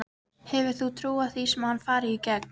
Hefur þú trú á því að hann fari í gegn?